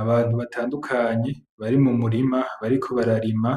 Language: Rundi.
Abantu batandukanye bari mu murima bariko bararima,